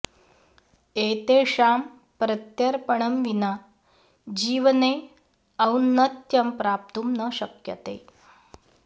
एतेषां प्रत्यर्पणं विना जीवने औन्नत्यं प्राप्तुं न शक्यते